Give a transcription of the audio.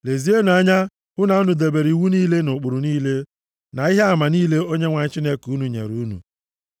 Lezienụ anya hụ na unu debere iwu niile na ụkpụrụ niile, na ihe ama niile Onyenwe anyị Chineke unu nyere unu.